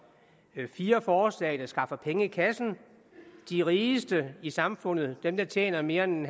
fire forslag der skaffer penge i kassen de rigeste i samfundet dem der tjener mere end